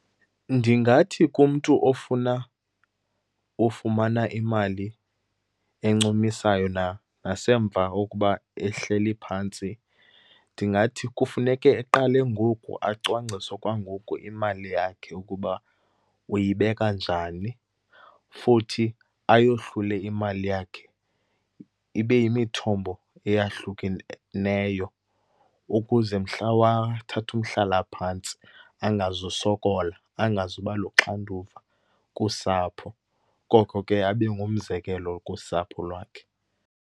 Ndingathi kumntu ofuna ufumana imali encumisayo nasemva kokuba ehleli phantsi, ndingathi kufuneke eqale ngoku acwangcise kwangoku imali yakhe ukuba uyibeka njani. Futhi ayohlule imali yakhe ibe yimithombo eyahlukeneyo ukuze mhla wathatha umhlalaphantsi angazusokola, angazuba luxanduva kusapho koko ke abe ngumzekelo kusapho lwakhe.